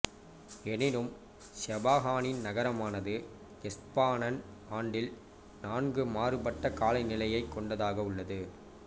எனினும் செபஹானின் நகரமானது எஸ்பானன் ஆண்டில் நான்கு மாறுபட்ட கால நிலையைக் கொண்டதாக உள்ளது